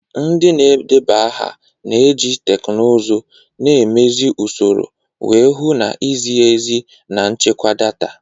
Ndị na-edeba aha na-eji teknụzụ, na-emezi usoro, wee hụ na izi ezi na nchekwa data.